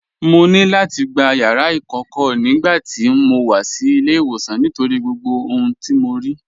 Mọ̀ ní láti gbà yàrà ikọ̀kọ̀ nigbàtí mó wà sí ilẹ̀-ìwọsan nítorí gbogbo ohun tó mọ̀ rí.